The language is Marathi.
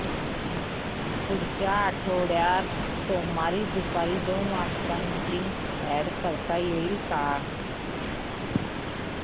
पुढच्या आठवड्यात सोमवारी दुपारी दोन मीटिंग्स अॅड करता येतील का